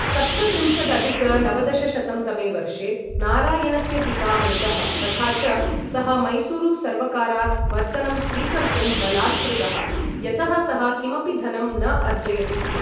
सप्तत्रिंशदधिक नवदशशतं तमे वर्षे, नारायणस्य पिता मृतः तथा च सः मैसूरुसर्वकारात् वर्तनं स्वीकर्तुं बलात्कृतः, यतः सः किमपि धनं न अर्जयति स्म।